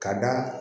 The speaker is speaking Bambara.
Ka da